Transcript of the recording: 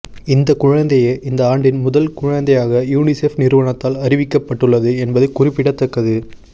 இந்த குழந்தையே இந்த ஆண்டின் முதல் குழந்தையாக யூனிசெப் நிறுவனத்தால் அறிவிக்கப்பட்டுள்ளது என்பது குறிப்பிடத்தக்கது